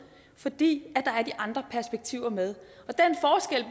fordi er de andre perspektiver med